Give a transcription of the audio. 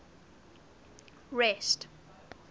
rest